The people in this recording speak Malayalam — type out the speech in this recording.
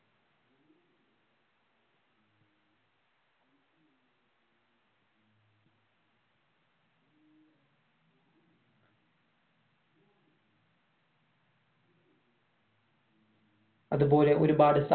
അത്പോലെ ഒരുപാടു സാ